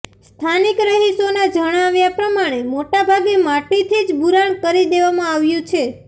સ્થાનિક રહિશોના જણાવ્યા પ્રમાણે મોટાભાગે માટીથી જ બુરાણ કરી દેવામાં આવ્યુ છે